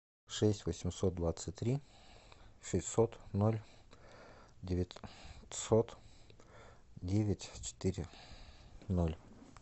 шесть восемьсот двадцать три шестьсот ноль девятьсот девять четыре ноль